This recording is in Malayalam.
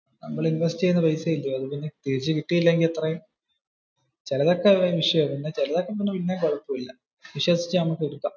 നമ്മൾ ഈ ഇൻവെസ്റ്റ് ചെയുന്ന പൈസ ഇല്ലയോ അത് തിരിച്ച കിട്ടിയില്ലെങ്കിൽ ചിലതൊക്കെ വിഷയമാണ് പക്ഷെ ചിലതൊക്കെ പിന്നെയും കുഴപ്പമില്ല. വിശ്വസിച്ചു നമുക് എടുകാം.